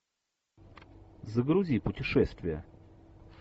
загрузи путешествие